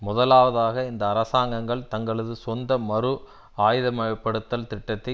முதலாவதாக இந்த அரசாங்கங்கள் தங்களது சொந்த மறு ஆயுதமயப்படுத்தல் திட்டத்தை